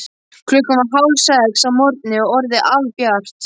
Klukkan var hálfsex að morgni og orðið albjart.